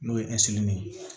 N'o ye ye